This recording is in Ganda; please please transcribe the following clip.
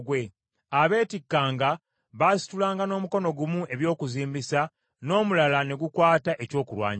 Abeetikkanga, baasitulanga n’omukono gumu eby’okuzimbisa n’omulala ne gukwata ekyokulwanyisa,